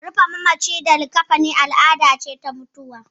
Rufe mamaci a likkafani al'ada ce ta mutuwa.